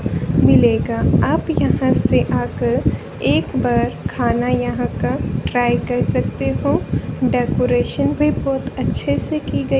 मिलेगा आप यहाँ से आकर एक बार खाना यहाँ का ट्राय कर सकते हो डेकोरेशन भीं बहोत अच्छे से की गई--